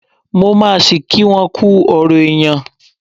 Mo máa ṣí kí won kú ọrọ̀ èèyàn.